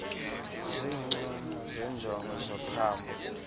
zincomo zenjongo zophambo